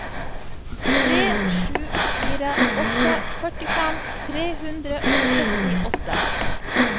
tre sju fire åtte førtifem tre hundre og syttiåtte